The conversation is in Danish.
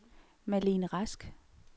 Malene Rask